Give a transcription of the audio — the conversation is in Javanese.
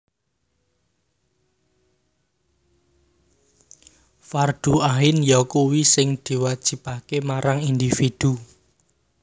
Fardhu Ain yakuwi sing diwajibaké marang individu